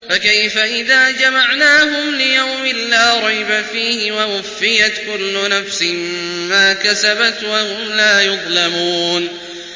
فَكَيْفَ إِذَا جَمَعْنَاهُمْ لِيَوْمٍ لَّا رَيْبَ فِيهِ وَوُفِّيَتْ كُلُّ نَفْسٍ مَّا كَسَبَتْ وَهُمْ لَا يُظْلَمُونَ